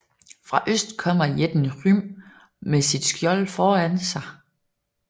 Fra øst kommer jætten Hrym med sit skjold foran sig